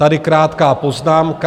Tady krátká poznámka.